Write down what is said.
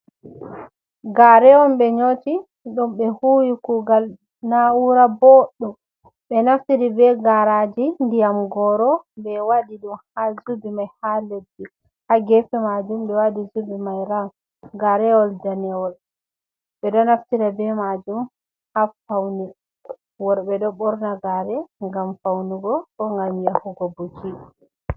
Gaare on ɓe nyooti ɗum ɓe huuwi kuugal naa'uura booɗum, ɓe naftiri be gaaraaji ndiyam gooro, ɓe waɗi ɗum haa jubi may haa leddi, haa geefe maajum, ɓe waɗi jubi may rawun. Gaareewol daneewol, ɓe ɗo naftira be maajum haa fawne. Worɓe ɗo ɓorna gaare ngam fawnugo, ko ngam yahugo buki.